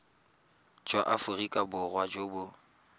jwa aforika borwa jo bo